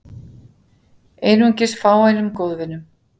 Einungis fáeinum góðvinum